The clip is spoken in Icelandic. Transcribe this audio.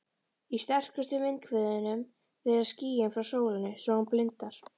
Í sterkustu vindhviðunum berast skýin frá sólinni svo hún blindar.